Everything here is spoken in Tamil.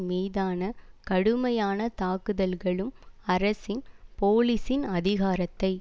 மீதான கடுமையான தாக்குதல்களும் அரசின் போலீசின் அதிகாரத்தை